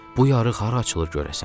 Bu yarıq hara açılır görəsən?